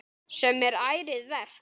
Sem er ærið verk.